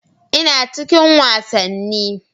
Ina cikin wasanni.